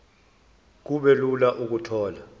kube lula ukuthola